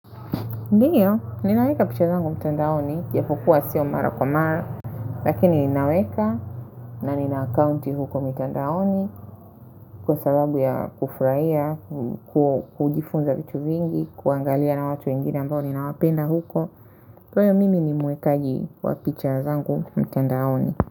Ndiyo, ninaweka picha zangu mtandaoni, japo kuwa siyo mara kwa mara, lakini ninaweka na nina akaunti huko mtandaoni kwa sababu ya kufurahia, kujifunza vitu vingi, kuangalia na watu wengine ambao ninawapenda huko, kwa hiyo mimi ni mwekaji wa picha zangu mtandaoni.